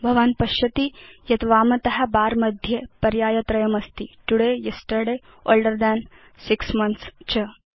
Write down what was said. भवान् पश्यति यत् वामत बर मध्ये पर्याय त्रयमस्ति तोदय येस्टर्डे ओल्डर थान् 6 मोन्थ्स् च